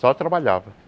Só trabalhava.